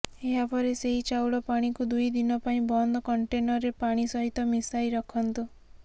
ଏହାପରେ ସେହି ଚାଉଳ ପାଣିକୁ ଦୁଇ ଦିନ ପାଇଁ ବନ୍ଦ କଣ୍ଟେନରରେ ପାଣି ସହିତ ମିଶାଇ ରଖନ୍ତୁ